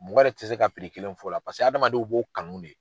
Mɔgɔ yɛrɛ tɛ se ka piri kelen fɔ o la paseke hadamadenw b'o kanu de